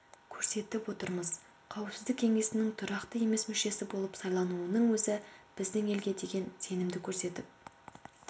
көрсетіп отырмыз қауіпсіздік кеңесінің тұрақты емес мүшесі болып сайлануының өзі біздің елге деген сенімді көрсетіп